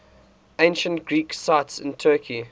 ancient greek sites in turkey